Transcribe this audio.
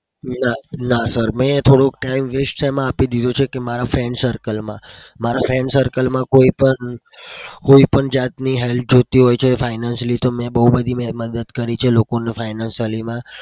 ના ના. sir મેં થોડોક time waste શેમાં આપી દીધો છે કે મારા friend circle માં મારા friend circle માં કોઈ પણ જાતની help જોઈતી હોય છે financially તો મેં બઉ બધી મદદ કરી છે લોકોને financially માં.